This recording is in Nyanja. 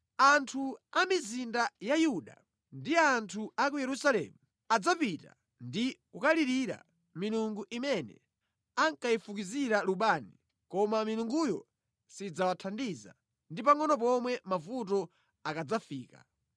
Anthu a mʼmizinda ya Yuda ndi anthu a ku Yerusalemu adzapita ndi kukalirira milungu imene ankayifukizira lubani, koma milunguyo sidzawathandiza ndi pangʼono pomwe mavuto akadzafika.